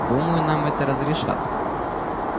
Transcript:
думаю нам это разрешат